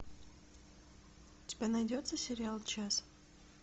у тебя найдется сериал час